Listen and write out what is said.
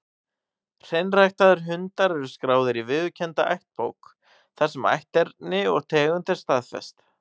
Hreinræktaðir hundar eru skráðir í viðurkennda ættbók, þar sem ætterni og tegund er staðfest.